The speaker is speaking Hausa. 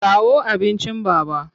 Kawo abincin Baba!